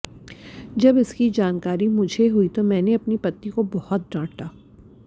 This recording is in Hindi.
जब इसकी जानकारी मुझे हुई तो मैंने अपनी पत्नी को बहुत डांटा